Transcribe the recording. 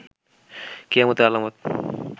কিয়ামতের আলামত